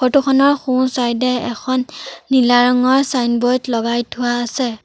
Photo খনৰ সোঁ side এ এখন নীলা ৰঙৰ ছাইনবোৰ্ড লগাই থোৱা আছে।